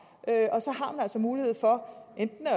og så mulighed for